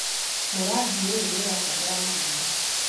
Mũrandi ũyũ nĩũrabatara mahinda